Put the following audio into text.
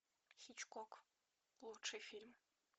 хичкок лучший фильм